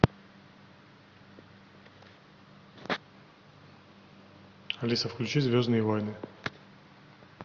алиса включи звездные войны